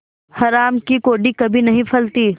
हराम की कौड़ी कभी नहीं फलती